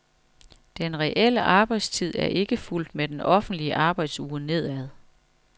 Den reelle arbejdstid er ikke fulgt med den officielle arbejdsuge nedad.